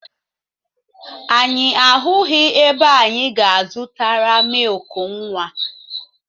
Anyị ahụghị ebe anyị ga-zụtara mịịkụ nwa.